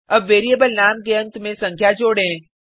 अब वेरिएबल नाम के अंत में संख्या जोडें